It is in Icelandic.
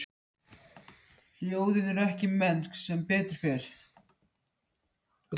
Rán